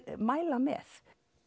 mæla með